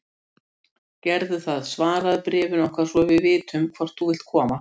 Og hvað væri svo vonin án áþreifanlegrar staðreyndar, fjarlægrar eða nálægrar?